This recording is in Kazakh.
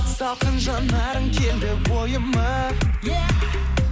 салқын жанарың келді ойыма е